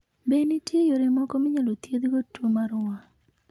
Be ni nitie yore moko minyalo thiedhogo tuwo mar wang?